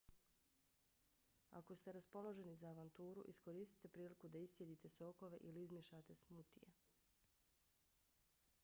ako ste raspoloženi za avanturu iskoristite priliku da iscijedite sokove ili izmiješate smutije: